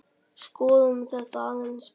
Skoðum þetta aðeins betur.